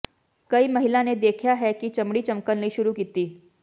ਕਈ ਮਹਿਲਾ ਨੇ ਦੇਖਿਆ ਹੈ ਕਿ ਚਮੜੀ ਚਮਕਣ ਲਈ ਸ਼ੁਰੂ ਕੀਤਾ